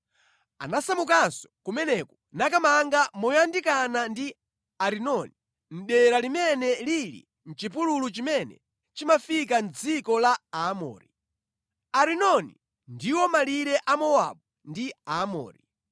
Anasamukanso kumeneko nakamanga moyandikana ndi Arinoni mʼdera limene lili mʼchipululu chimene chimafika mʼdziko la Aamori. Arinoni ndiwo malire a Mowabu ndi Aamori.